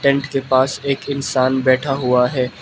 Tent के पास एक इंसान बैठा हुआ है।